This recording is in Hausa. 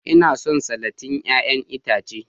Ina son salatin 'ya'yan itace